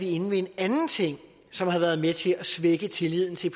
er inde ved en anden ting som har været med til at svække tilliden til